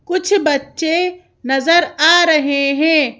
कुछ बच्चे नजर आ रहे हैं।